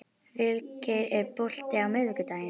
Vilgeir, er bolti á miðvikudaginn?